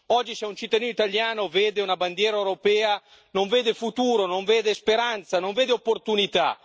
Oggi c'è un cittadino italiano, vede una bandiera europea, non vede il futuro, non vede speranza, non vede opportunità.